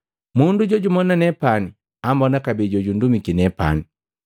Mundu jojumona nepani ambona kabee na jojundumiki nepani.